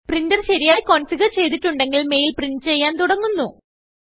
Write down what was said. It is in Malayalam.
പ്രിൻറർ ശരിയായി കൊൻഫിഗുർ ചെയ്തിട്ടുണ്ടെങ്കിൽ മെയിൽ പ്രിന്റ് ചെയ്യാൻ തുടങ്ങുന്നു